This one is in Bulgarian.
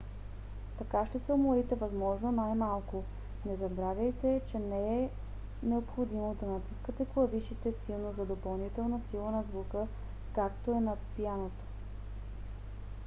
така ще се уморите възможно най-малко. не забравяйте че не е необходимо да натискате клавишите силно за допълнителна сила на звука както е на пианото